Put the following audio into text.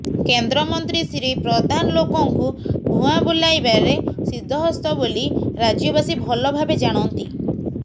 କେନ୍ଦ୍ରମନ୍ତ୍ରୀ ଶ୍ରୀ ପ୍ରଧାନ ଲୋକଙ୍କୁ ଭୂଆଁ ବୁଲାଇବାରେ ସିଦ୍ଧହସ୍ତ ବୋଲି ରାଜ୍ୟବାସୀ ଭଲ ଭାବେ ଜାଣନ୍ତି